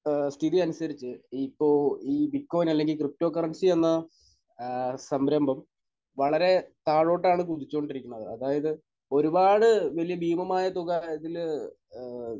സ്ഥിതിയനുസരിച്ച് ഇപ്പോൾ ഈ ബിറ്റ്കോയിൻ അല്ലെങ്കിൽ ക്രിപ്റ്റോ കറൻസി എന്ന ഏഹ് സംരംഭം വളരെ താഴോട്ടാണ് കുതിച്ചുകൊണ്ടിരിക്കുന്നത്. അതായത് ഒരുപാട് വലിയ ഭീമമായ തുക ഇതിൽ ഏഹ്